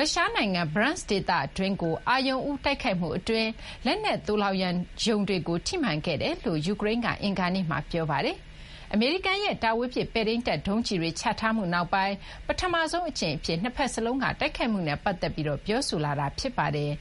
ုရှား နိုင်ငံ Bryansk ဒေသတွင်းကို အာရုံဦး တိုက်ခိုက်မှု အတွင်း လက်နက် သိုလှောင်ရုံတွေကို ထိမှန်ခဲ့ကြောင်း ယူကရိန်းက အင်္ဂါနေ့မှာ ပြောပါတယ်။ အမေရိကန်ရဲ့ တာဝေးပစ် ပဲ့ထိန်းတပ် ဒုံးကျည်တွေ ချထားမှု နောက်ပိုင်း ပထမဆုံး အကြိမ် အဖြစ် နှစ်ဘက်စလုံးက တိုက်ခိုက်မှုနဲ့ ပတ်သက်ပြီး ပြောဆိုလာတာ ဖြစ်ပါတယ်